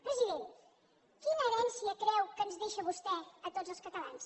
president quina herència creu que ens deixa vostè a totes els catalans